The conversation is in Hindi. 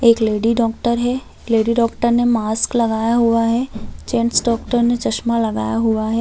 एक लेडी डॉक्टर है लेडी डॉक्टर ने मास्क लगाया हुआ है जेंट्स डॉक्टर ने चश्मा लगाया हुआ है।